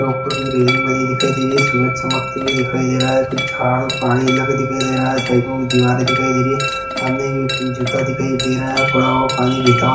उपर कुछ रेलिंग वगेरा दिखाई दे ररही हैसूरज चमकता हुआ दिखाई दे रहा हैं कुछ झाड और पहाड़ी इलाका दिखाई दे रहा हैं साइड मे दिवारे दिखाईं दे रही हैं सामने जूता दिखाई दे रहा हैं थोड़ा और पानी बहुत